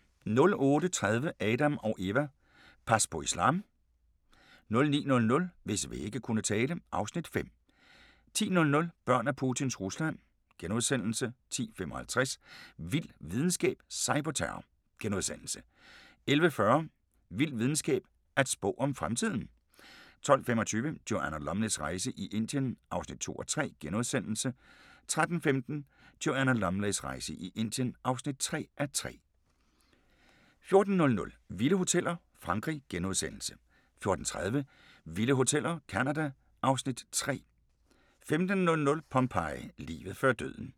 08:30: Adam & Eva: Pas på islam? 09:00: Hvis vægge kunne tale (Afs. 5) 10:00: Børn af Putins Rusland * 10:55: Vild videnskab: Cyberterror * 11:40: Vild videnskab: At spå om fremtiden 12:25: Joanna Lumleys rejse i Indien (2:3)* 13:15: Joanna Lumleys rejse i Indien (3:3) 14:00: Vilde hoteller – Frankrig * 14:30: Vilde Hoteller – Canada (Afs. 3) 15:00: Pompeii – livet før døden *